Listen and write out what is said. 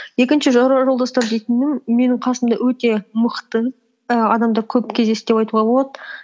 екінші жора жолдастар дейтінім менің қасымда өте мықты і адамдар көп кездесті деп айтуға болады